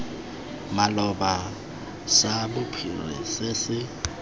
maloba sa bophiri se se